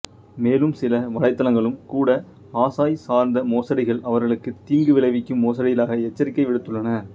மேலும் சில வலைத்தளங்களும் கூட அசாய் சார்ந்த மோசடிகள் அவர்களுக்குத் தீங்கு விளைவிக்கும் மோசடிகளாக எச்சரிக்கை விடுத்துள்ளன